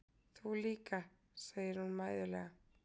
Þú líka, segir hún mæðulega.